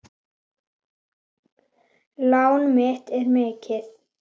Lán mitt er mikið.